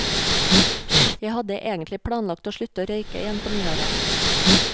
Jeg hadde egentlig planlagt å slutte å røyke igjen på nyåret.